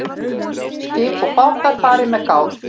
Skip og bátar fari með gát